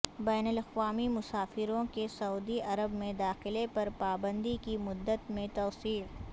بین الاقوامی مسافروں کے سعودی عرب میں داخلے پر پابندی کی مدت میں توسیع